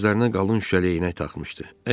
Gözlərinə qalın şüşəli eynək taxmışdı.